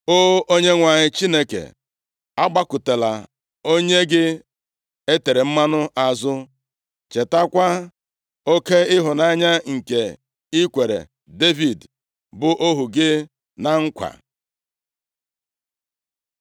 O Onyenwe anyị Chineke, agbakụtala onye gị e tere mmanụ azụ. Chetakwa oke ịhụnanya nke ị kwere Devid bụ ohu gị na nkwa.”